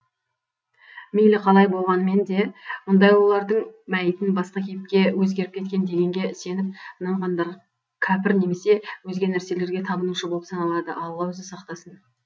мейлі қалай болғанмен де мұндай ұлылардың мәйітін басқа кейіпке өзгеріп кеткен дегенге сеніп нанғандар кәпір немесе өзге нәрселерге табынушы болып саналады алла өзі сақтасын